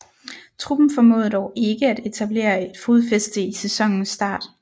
Truppen formåede dog ikke at etablere et fodfæste i sæsonens start